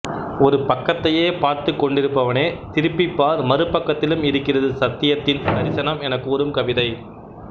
ஒரு பக்கத்தையே பார்த்துக்கொண்டிருப்பவனே திருப்பிப் பார் மறுபக்கத்திலும் இருக்கிறது சத்தியத்தின் தரிசனம் எனக் கூறும் கவிதை